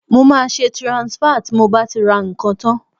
Mo máa ṣe transfer tí mo bá ti ra ǹkan tán